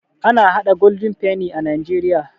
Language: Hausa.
Ana haɗa Golden penny a najeriya